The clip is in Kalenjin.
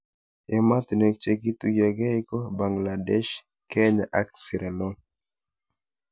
Ematinwek che kituyokei ko Bangladesh ,Kenya ak sierra Leon